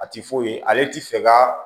A ti foyi ye ale ti fɛ ka